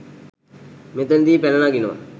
මෙතනදී පැන නගිනවා